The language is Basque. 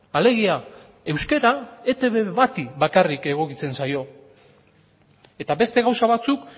alegia euskara etb bati bakarrik egokitzen zaio eta beste gauza batzuk